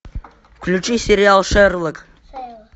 включи сериал шерлок